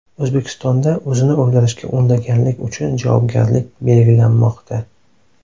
O‘zbekistonda o‘zini o‘ldirishga undaganlik uchun javobgarlik belgilanmoqda .